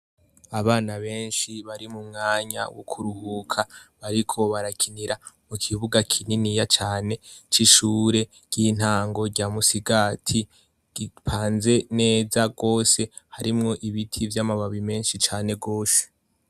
Abana benshi bari mu mwanya wo kuruhuka bariko barakinira mu kibuga kininiya cane c'ishure ry'intango rya musigati gipanze neza wose harimwo ibiti vy'amababi menshi cane gose.